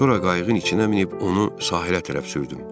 Sonra qayığın içinə minib onu sahilə tərəf sürdüm.